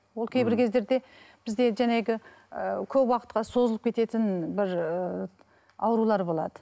ол кейбір кездерде бізде енді жаңағы ы көп уақытқа созылып кететін бір ы аурулар болады